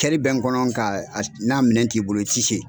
kɛli bɛ n kɔnɔ nga n'a minɛ t'i bolo i ti se.